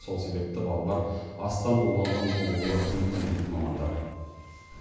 сол себепті балалар астан уланған болуы мүмкін дейді мамандар